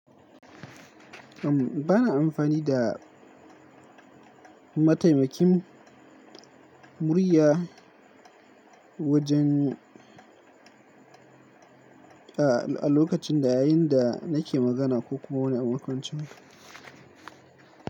Umm bana amfani da mataimakin murya wajen a, a lokacin da yayin da nake magana ko kuma wani abun kwancin.